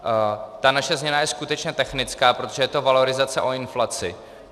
Ta naše změna je skutečně technická, protože to je valorizace o inflaci.